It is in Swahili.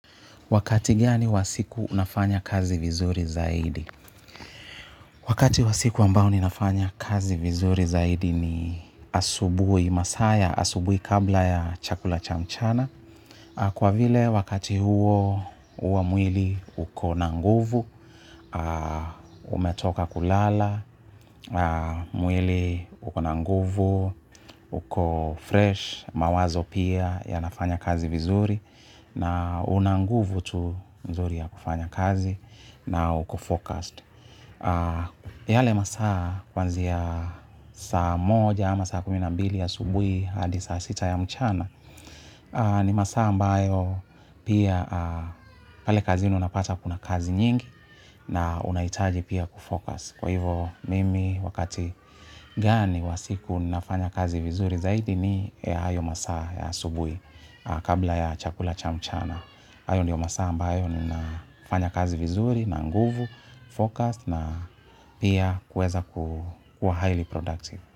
Wakati gani wa siku unafanya kazi vizuri zaidi. Wakati wa siku ambao ninafanya kazi vizuri zaidi ni asubuhi masaa ya, asubuhi kabla ya chakula cha mchana. Kwa vile wakati huo huwa mwili uko na nguvu, umetoka kulala, mwili uko na nguvu, uko fresh, mawazo pia yanafanya kazi vizuri. Na una nguvu tu mzuri ya kufanya kazi na uko-focused. Yale masaa kuanzia saa moja ama saa kumi na mbili ya asubuhi hadi saa sita ya mchana ni masaa ambayo pia pale kazini unapata kuna kazi nyingi na unahitaji pia kufocus. Kwa hivo mimi wakati gani wa siku nafanya kazi vizuri zaidi ni ya hayo masaa ya asubuhi kabla ya chakula cha mchana. Hayo ndiyo masaa, ambayo ninafanya kazi vizuri, na nguvu, focused na pia kuweza kuwa highly productive.